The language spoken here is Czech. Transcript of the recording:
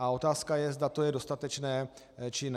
A otázka je, zda to je dostatečné, či ne.